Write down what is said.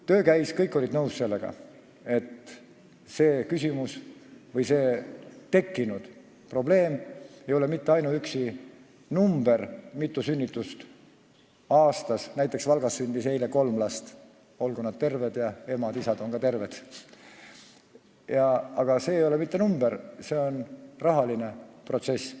Töö käis, kõik olid nõus sellega, et see küsimus või tekkinud probleem ei tähenda mitte ainuüksi numbrit, mitu sünnitust aastas on – näiteks Valgas sündis eile kolm last, olgu nad terved ja emad-isad ka terved –, vaid see on rahaline protsess.